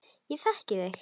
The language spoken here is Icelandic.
Ég þekki þig.